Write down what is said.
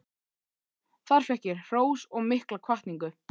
Þar fékk ég hrós og mikla hvatningu.